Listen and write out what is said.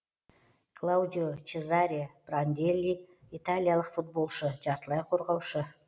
клаудио чезаре пранделли италиялық футболшы жартылай қорғаушы